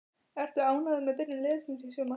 Ertu ánægður með byrjun liðsins í sumar?